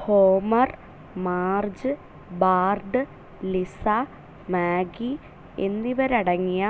Homer, Marge, Bart, Lisa, Maggie എന്നിവരടങ്ങിയ